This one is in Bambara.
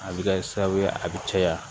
A bɛ kɛ sababu ye a bɛ caya